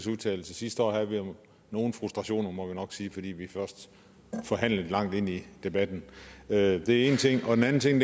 vedtagelse sidste år havde vi jo nogle frustrationer må vi nok sige fordi vi forhandlede langt ind i debatten det er én ting en anden ting